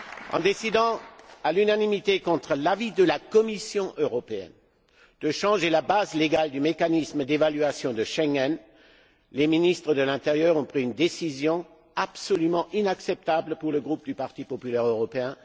En décidant à l'unanimité, contre l'avis de la Commission européenne, de changer la base légale du mécanisme d'évaluation de Schengen, les ministres de l'intérieur ont pris une décision absolument inacceptable pour le groupe du Parti populaire européen.